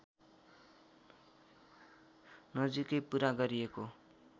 नजिकै पुरा गरिएको